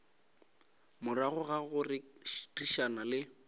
morago ga go rerišana le